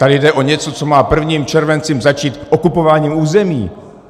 Tady jde o něco, co má 1. červencem začít - okupování území.